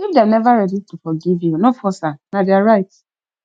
if dem neva ready to forgive you no force am na their right